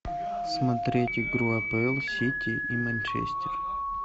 смотреть игру апл сити и манчестер